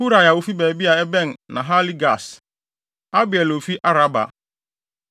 Hurai a ofi baabi a ɛbɛn Nahale-Gaas; Abiel a ofi Araba.